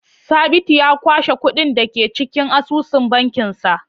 Sabitu ya kwashe kuɗin da ke cikin asusun bankinsa.